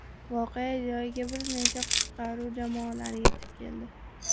Voqea joyiga bir nechta qutqaruv jamoalari yetib keldi.